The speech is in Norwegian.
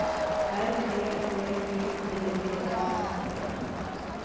R E V I D E R T